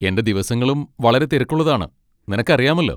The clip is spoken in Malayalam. എന്റെ ദിവസങ്ങളും വളരെ തിരക്കുള്ളതാണ്, നിനക്കറിയാമല്ലോ.